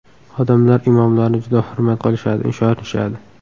Odamlar imomlarni juda hurmat qilishadi, ishonishadi.